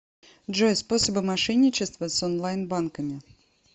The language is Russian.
джой способы мошенничества с онлайн банками